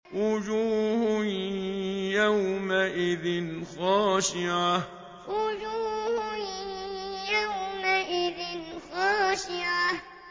وُجُوهٌ يَوْمَئِذٍ خَاشِعَةٌ وُجُوهٌ يَوْمَئِذٍ خَاشِعَةٌ